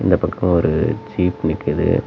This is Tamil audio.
இந்தப் பக்கோ ஒரு ஜீப் நிக்குது.